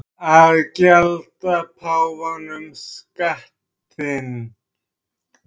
Að gjalda páfanum skattinn